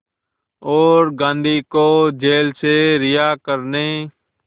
और गांधी को जेल से रिहा करने